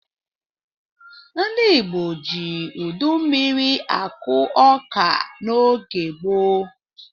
Ndị Igbo ji udu mmiri akụ ọka n'oge gboo.